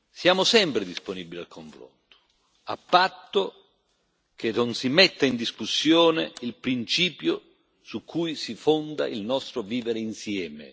Siamo sempre disponibili al confronto, a patto che non si metta in discussione il principio su cui si fonda il nostro vivere insieme.